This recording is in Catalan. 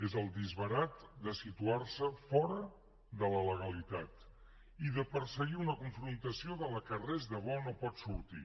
és el disbarat de situarse fora de la legalitat i de perseguir una confrontació de la qual res de bo no en pot sortir